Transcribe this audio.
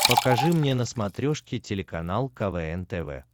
покажи мне на смотрешке телеканал квн тв